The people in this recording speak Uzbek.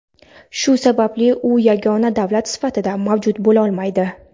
shu sababli u yagona davlat sifatida mavjud bo‘lolmaydi.